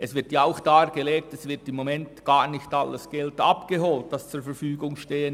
Es wird auch dargelegt, dass zurzeit gar nicht alles Geld abgeholt wird, das zur Verfügung steht.